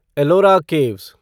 Ellora caves